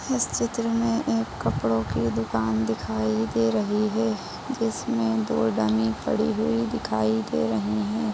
इस चित्र में एक कपड़ों की दुकान दिखाई दे रही है जिसमें दो डमी पड़ी हुई दिखाई दे रही हैं।